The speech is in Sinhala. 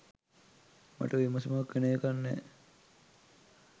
මට විසුමක් වෙන එකක් නෑ